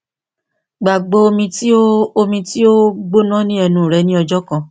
gbagbo omi ti o omi ti o gbona ni ẹnu rẹ ni ọjọ kan